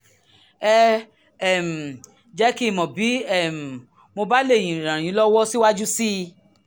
ẹ um jẹ́ kí n mọ̀ bí um mo bá lè ràn yín lọ́wọ́ síwájú sí i